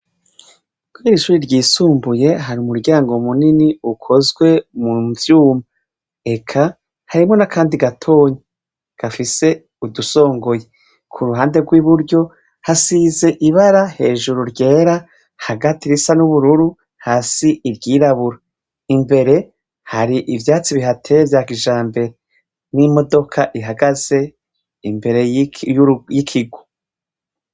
Ko irishuri ryisumbuye hari umuryango munini ukozwe mu vyuma eka harimwo na, kandi gatonyi gafise udusongoye ku ruhande rw'i buryo hasize ibara hejuru ryera hagati risa n'ubururu hasi iryirabura imbere h hari ivyatsi bihateye vyagijambe n'imodoka ihagaze imbere y'ikigu.